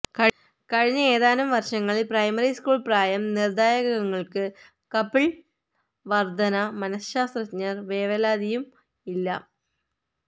കഴിഞ്ഞ ഏതാനും വർഷങ്ങളിൽ പ്രൈമറി സ്കൂൾ പ്രായം നിറദായകങ്ങള്ക്ക് കപ്പിൾ വർധന മനശാസ്ത്രജ്ഞർ വേവലാതിയും ഇല്ല